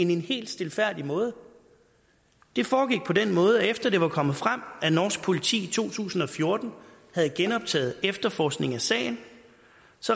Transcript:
den helt stilfærdige måde at det foregik på den måde at søfartsstyrelsen efter det var kommet frem at norsk politi i to tusind og fjorten havde genoptaget efterforskningen af sagen